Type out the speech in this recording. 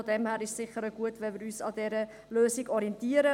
Auch deshalb ist es sicher gut, wenn wir uns an dieser Lösung orientieren.